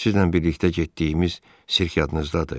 Sizlə birlikdə getdiyimiz sirk yadınızdadır?